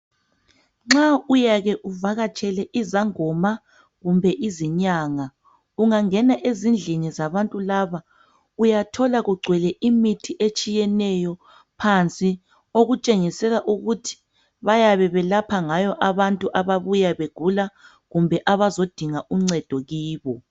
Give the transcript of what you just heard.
Nxa uyake uvakatshele izangoma kumbe izinyanga ungangena ezindlini zabantu laba uyathola kugcwele imithi etshiyeneyo phansi. Okutshengisela ukuthi bayabe belapha ngayo abantu ababuya begula kumbe abazodinga uncedo kubo.